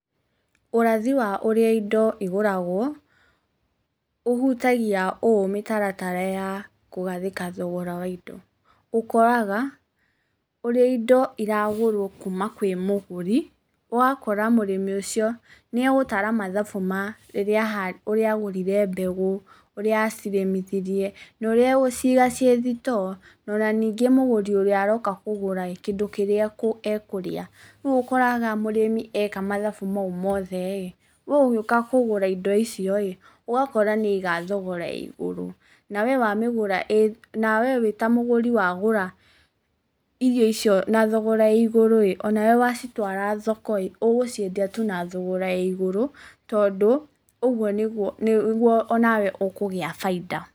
Ũrathi wa ũrĩa indo igũragwo, ũhutagia ũũ mĩtaratara ya kũgathĩka thogora wa indo. Ũkoraga ũrĩa indo iragũrwo kuuma kwĩ mũgũri, ũgakora mũrĩmi ũcio nĩegũtara mathabu ma ũrĩa agũrire mbegũ, ũrĩa acirĩmithirie, no ũrĩa agũciga ciĩ thitoo, no na ningĩ mũgũri ũrĩa aroka kũgũra ĩĩ, kĩndũ kĩrĩa ekũrĩa. Rĩu ũkoraga mũrĩmi eka mathabu mau mothe ĩĩ, we ũgĩuka kũgũra indo icio ĩĩ, ũgakora nĩ aiga thogora ya igũrũ, na wee wĩ ta mũgũri wagũra irio icio na thogora ya igũrũ ĩĩ, o nawe wacitwara thoko ĩĩ, ũgũciendia tu na thogora ya igũrũ, tondũ ũguo nĩguo onawe ũkũgĩa baida.